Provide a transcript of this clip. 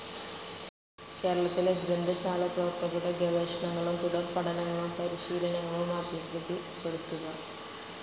കേരളത്തിലെ ഗ്രന്ഥശാലപ്രവർത്തകരുടെ ഗവേഷണങ്ങളും തുടർപഠനങ്ങളും പരിശീലനങ്ങളും അഭിവൃദ്ധിപ്പെടുത്തുക.